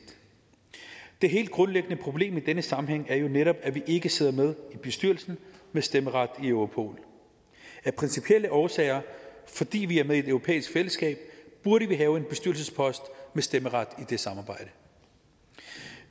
det helt grundlæggende problem i denne sammenhæng er jo netop at vi ikke sidder med i bestyrelsen med stemmeret i europol af principielle årsager fordi vi er med i et europæisk fællesskab burde vi have en bestyrelsespost med stemmeret i det samarbejde